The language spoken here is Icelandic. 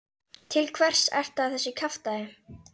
Til hvers ertu að þessu kjaftæði?